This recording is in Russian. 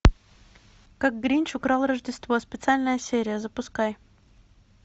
как гринч украл рождество специальная серия запускай